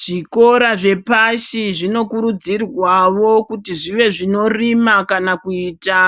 Zvikora zvepashi zvinokurudzirwawo kuti zvive zvinorima kana kuita